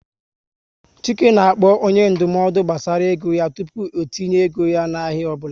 Chike na-akpọ onye ndụmọdụ gbasara ego yá tupu o tinye ego ya na ahịa ọbụla